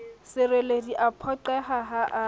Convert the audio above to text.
sereledi a phoqeha ha a